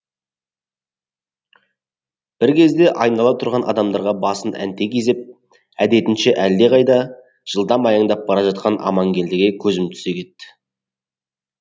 бір кезде айнала тұрған адамдарға басын әнтек изеп әдетінше әлдеқайда жылдам аяңдап бара жатқан аманкелдіге көзім түсе кетті